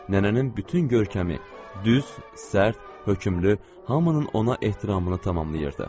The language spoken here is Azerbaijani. Nənənin bütün görkəmi düz, sərt, hökmlü, hamının ona ehtiramını tamamlayırdı.